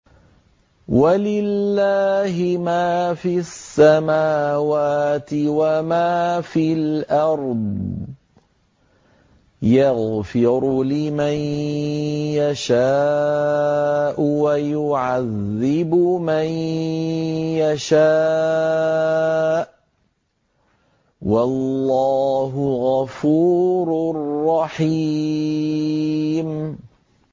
وَلِلَّهِ مَا فِي السَّمَاوَاتِ وَمَا فِي الْأَرْضِ ۚ يَغْفِرُ لِمَن يَشَاءُ وَيُعَذِّبُ مَن يَشَاءُ ۚ وَاللَّهُ غَفُورٌ رَّحِيمٌ